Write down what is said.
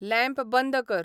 lamp बंद कर